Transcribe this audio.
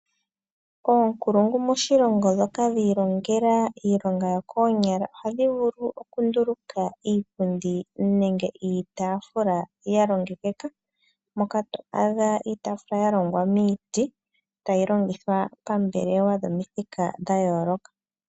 Oonkulungu moshilongo, ndhoka dhi ilongela iilonga yokoonyala, ohadhi vulu okunduluka iipundi nenge iitaafula yalongekeka, moka to adha iitaafula yalongwa miiti, tayi longithwa poombelewa dhomithika dhayooloka.